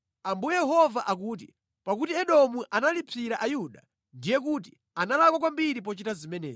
“Ambuye Yehova akuti, ‘Pakuti Edomu analipsira Ayuda, ndiye kuti analakwa kwambiri pochita zimenezi.